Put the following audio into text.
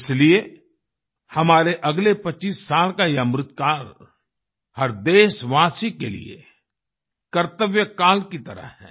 इसीलिए हमारे अगले 25 साल का ये अमृतकाल हर देशवासी के लिए कर्तव्यकाल की तरह है